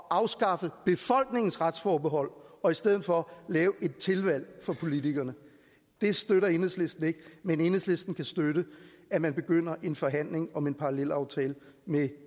afskaffe befolkningens retsforbehold og i stedet for lave et tilvalg for politikerne det støtter enhedslisten ikke men enhedslisten kan støtte at man begynder en forhandling om en parallelaftale med